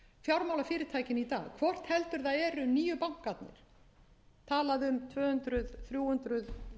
dag hvort heldur það eru nýju bankarnir talað um tvö hundruð þrjú hundruð fjögur hundruð